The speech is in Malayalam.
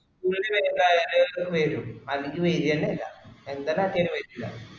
കൂടുൽവലുതായവര് വരും അല്ലെങ്കിൽ വരന്നെ ഇല്ലഎൻ്റെ data ല് പറ്റൂലാ